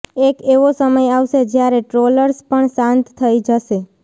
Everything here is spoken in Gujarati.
એક એવો સમય આવશે જ્યારે ટ્રોલર્સ પણ શાંત થઈ જશે